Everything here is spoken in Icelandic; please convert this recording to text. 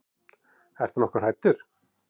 Ertu nokkuð hræddur?